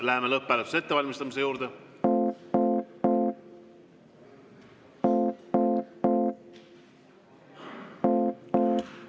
Läheme lõpphääletuse ettevalmistamise juurde.